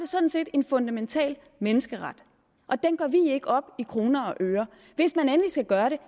sådan set en fundamental menneskeret og den gør vi ikke op i kroner og øre hvis man endelig skal gøre det